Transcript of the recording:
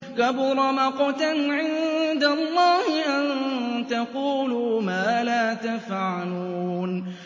كَبُرَ مَقْتًا عِندَ اللَّهِ أَن تَقُولُوا مَا لَا تَفْعَلُونَ